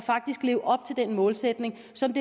som